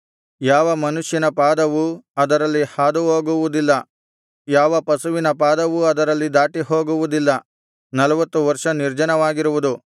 ಯಾವ ಮನುಷ್ಯನ ಪಾದವೂ ಅದರಲ್ಲಿ ಹಾದುಹೋಗುವುದಿಲ್ಲ ಯಾವ ಪಶುವಿನ ಪಾದವೂ ಅದರಲ್ಲಿ ದಾಟಿಹೋಗುವುದಿಲ್ಲ ನಲ್ವತ್ತು ವರ್ಷ ನಿರ್ಜನವಾಗಿರುವುದು